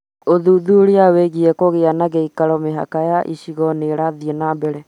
Ūthuthuria wĩgiĩ kũgĩa na gĩikaro mĩhaka ya icigo nĩ ĩrathiĩ na mbere